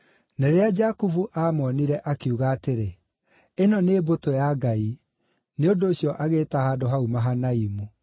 Na rĩrĩa Jakubu aamoonire, akiuga atĩrĩ, “Ĩno nĩ mbũtũ ya Ngai!” Nĩ ũndũ ũcio agĩĩta handũ hau Mahanaimu.